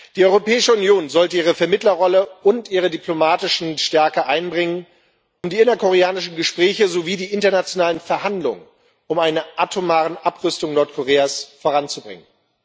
Die Europäische Union sollte ihre Vermittlerrolle und ihre diplomatische Stärke einbringen, um die innerkoreanischen Gespräche sowie die internationalen Verhandlungen um eine atomare Abrüstung Nordkoreas voranzubringen.